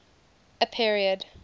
a period